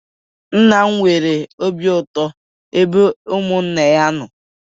Nna m nwere obi ụtọ na ebe ụmụnna ya nọ